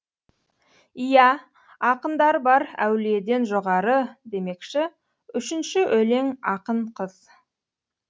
иә ақындар бар әулиеден жоғары демекші үшінші өлең ақын қыз